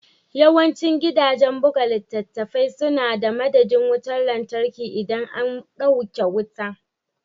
Yawancin gidajen buga littattafai suna da madadin wutar lantarki idan an dauke wuta.